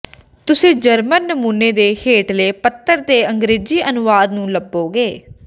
ਤੁਸੀਂ ਜਰਮਨ ਨਮੂਨੇ ਦੇ ਹੇਠਲੇ ਪੱਤਰ ਦਾ ਅੰਗਰੇਜ਼ੀ ਅਨੁਵਾਦ ਵੀ ਲੱਭੋਗੇ